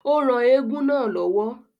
Ó ran eégún náà lọ́wọ́